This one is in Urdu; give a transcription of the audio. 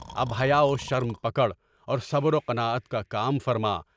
اب حیا اور شرم پکڑ اور صبر و قناعت کا کام فرما۔